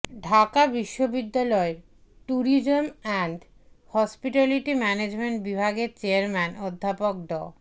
ঢাকা বিশ্ববিদ্যালয়ের tourism and hospitality management বিভাগের chairman অধ্যাপক ড